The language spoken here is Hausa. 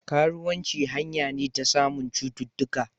Karuwanci hanya ne ta samun cuttutuka